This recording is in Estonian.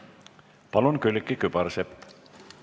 Palun, Külliki Kübarsepp!